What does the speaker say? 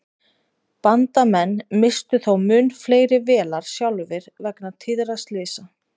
Bandamenn misstu þó mun fleiri vélar sjálfir vegna tíðra slysa.